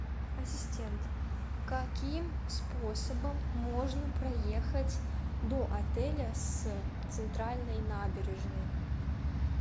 ассистент каким способом можно проехать до отеля с центральной набережной